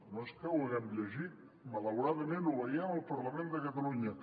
no és que ho haguem llegit malauradament ho veiem al parlament de catalunya